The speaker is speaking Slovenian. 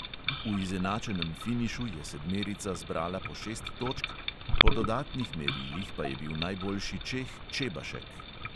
V izenačenem finišu je sedmerica zbrala po šest točk, po dodatnih merilih pa je bil najboljši čeh čebašek.